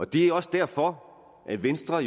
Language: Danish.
det er også derfor at venstre